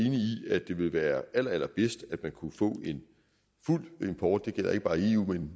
at det ville være allerallerbedst at man kunne få en fuld import det gælder ikke bare i eu men